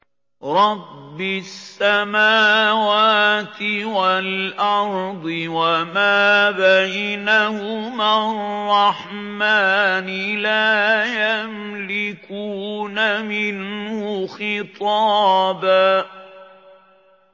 رَّبِّ السَّمَاوَاتِ وَالْأَرْضِ وَمَا بَيْنَهُمَا الرَّحْمَٰنِ ۖ لَا يَمْلِكُونَ مِنْهُ خِطَابًا